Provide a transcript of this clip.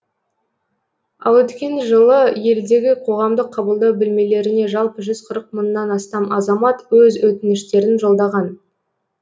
ал өткен жылы елдегі қоғамдық қабылдау бөлмелеріне жалпы жүз қырық мыңнан астам азамат өз өтініштерін жолдаған